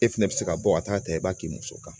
E fɛnɛ bɛ se ka bɔ ka taa ta i b'a k'i muso kan